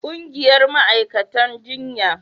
ƙungiyar ma'aikatan jinya